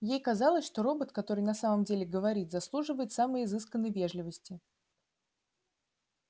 ей казалось что робот который на самом деле говорит заслуживает самой изысканной вежливости